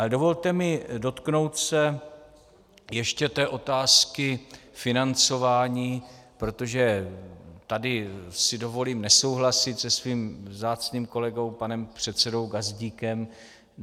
Ale dovolte mi dotknout se ještě té otázky financování, protože tady si dovolím nesouhlasit se svým vzácným kolegou panem předsedou Gazdíkem.